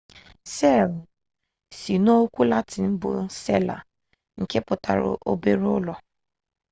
seelụ si n'okwu latịn bụ sela nke pụtara obere ụlọ